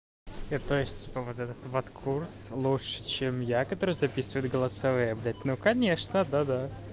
это то есть вот этот ват курс лучше чем я который записывает голосовые блять ну конечно да да